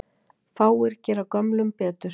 Fáir gera gömlum betur.